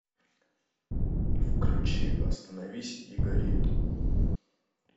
включи остановись и гори